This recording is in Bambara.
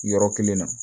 Yɔrɔ kelen na